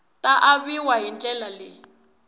ta aviwa hi ndlela leyi